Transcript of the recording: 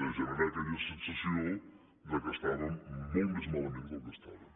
de generar aquella sensació que estàvem molt més malament del que estàvem